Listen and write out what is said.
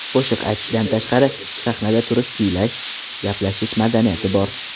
Qo‘shiq aytishdan tashqari, sahnada turish, kuylash, gaplashish madaniyati bor.